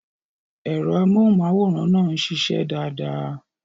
Ẹ̀rọ amóhùnmáwòrán náà ń ṣiṣẹ́ dáadáa.